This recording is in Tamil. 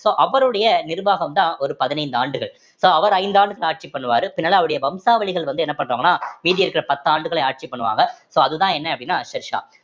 so அவருடைய நிர்வாகம்தான் ஒரு பதினைந்து ஆண்டுகள் so அவர் ஐந்து ஆண்டுகள் ஆட்சி பண்ணுருவாரு பின்னால அவருடைய வம்சாவழிகள் வந்து என்ன பண்றாங்கன்னா மீதி இருக்கிற பத்தாண்டுகளை ஆட்சி பண்ணுவாங்க so அதுதான் என்ன அப்படின்னா ஷெர்ஷா